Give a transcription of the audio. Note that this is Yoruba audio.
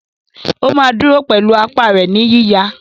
ó máa dúró pẹ̀lú apá rẹ̀ ní yíyà.